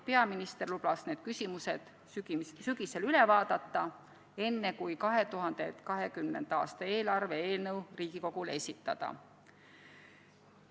Peaminister lubas need küsimused sügisel üle vaadata, enne kui 2020. aasta eelarve eelnõu Riigikogule esitada.